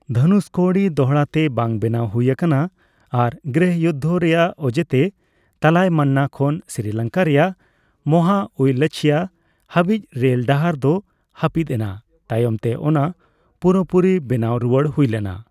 ᱫᱷᱚᱱᱩᱥᱠᱳᱲᱤ ᱫᱚᱲᱦᱟᱛᱮ ᱵᱟᱝ ᱵᱮᱱᱟᱣ ᱦᱩᱭ ᱟᱠᱟᱱᱟ, ᱟᱨ ᱜᱨᱤᱦᱚᱡᱩᱫᱫᱷ ᱨᱮᱭᱟᱜ ᱚᱡᱮᱛᱮ ᱛᱟᱞᱟᱭᱢᱟᱱᱱᱟ ᱠᱷᱚᱱ ᱥᱨᱤᱞᱚᱝᱠᱟ ᱨᱮᱭᱟᱜ ᱢᱚᱦᱟ ᱩᱭᱞᱟᱪᱷᱪᱷᱤᱭᱟ ᱦᱟᱹᱵᱤᱡ ᱨᱮᱞ ᱰᱟᱦᱟᱨ ᱫᱚ ᱦᱟᱹᱯᱤᱫ ᱮᱱᱟ (ᱛᱟᱭᱚᱢᱛᱮ ᱚᱱᱟ ᱯᱩᱨᱟᱹᱯᱩᱨᱤ ᱵᱮᱱᱟᱣ ᱨᱩᱣᱟᱹᱲ ᱦᱩᱭ ᱞᱮᱱᱟ )᱾